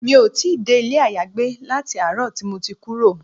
Mi ò tí dé ilé ayagbé láti àárọ̀ tí mo ti kúrò.